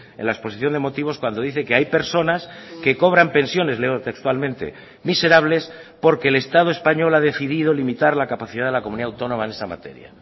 en la exposición de motivos cuando dice que hay personas que cobran pensiones leo textualmente miserables porque el estado español ha decidido limitar la capacidad de la comunidad autónoma en esa materia